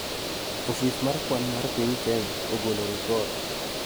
Ofis mar kwan mar piny Kenya ogolo ripot